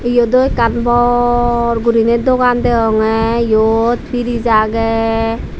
eodow ekan bor gurinaie dogan dagonggay eote piris aagay.